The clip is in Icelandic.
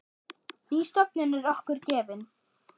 Ný stofnun er okkur gefin.